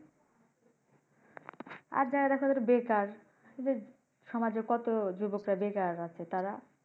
আর যারা দেখো বেকার এইযে সমাজের কত যুবক বেকার আছে তারা?